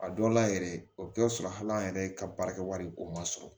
A dɔw la yɛrɛ o bɛ kɛ sɔrɔ hali an yɛrɛ ka baara kɛ wari o ma sɔrɔ